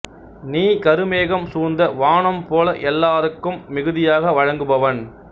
நீ கருமேகம் சூழ்ந்த வானம் போல எல்லாருக்கும் மிகுதியாக வழங்குபவன்